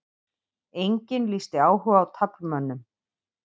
Enginn lýsti áhuga á taflmönnum